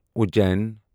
Ujjain